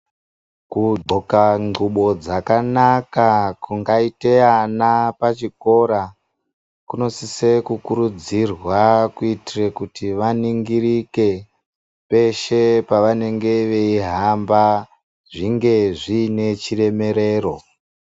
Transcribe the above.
Kugqoka nguwo dzakanaka kungaite ana pachikora kunosise kukurudzirwa kuitire kuti vaningirike peshe pavanenge beyihamba zvinge zvinechiremerero.